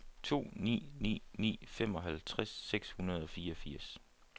to ni ni ni femoghalvtreds seks hundrede og fireogfirs